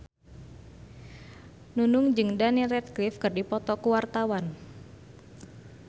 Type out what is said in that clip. Nunung jeung Daniel Radcliffe keur dipoto ku wartawan